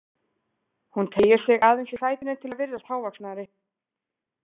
Hún teygir sig aðeins í sætinu til að virðast hávaxnari.